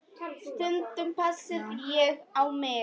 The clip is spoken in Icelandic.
Stundum pissaði ég á mig.